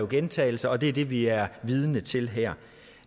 gentagelser og det er det vi er vidne til her